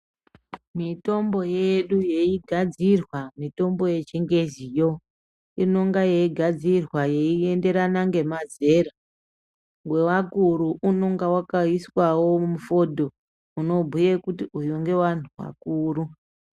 Mitombo yedu yeigadzirwa mitombo yechingeziyo inonga yeigadzirwa yeienderana ngemazera. Wevakuru unonga wakaiswawo mifodhoyo unobhuya kuti uyu ngeweantu akuru.